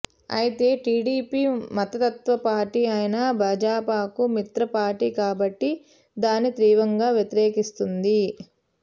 అయితే టీడీపీ మతతత్వ పార్టీ అయిన భాజపాకు మిత్ర పార్టీ కాబట్టి దాన్ని తీవ్రంగా వ్యతిరేకిస్తుంది